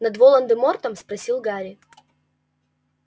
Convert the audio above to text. над волан-де-мортом спросил гарри